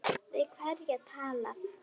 Við hverja var talað?